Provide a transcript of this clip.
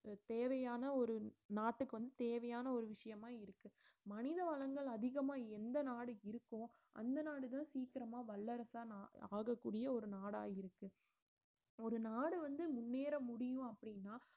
தேவையான ஒரு நாட்டுக்கு வந்து தேவையான ஒரு விஷயமா இருக்கு மனித வளங்கள் அதிகமா எந்த நாடு இருக்கோ அந்த நாடுதான் சீக்கிரமா வல்லரசா நா~ ஆகக்கூடிய ஒரு நாடா இருக்கு ஒரு நாடு வந்து முன்னேற முடியும் அப்படின்னா